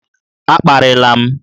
A kparịla m!